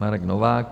Marek Novák: